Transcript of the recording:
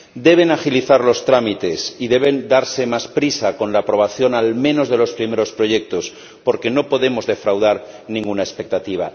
Deben agilizar los trámites y deben darse más prisa con la aprobación al menos de los primeros proyectos, porque no podemos defraudar ninguna expectativa.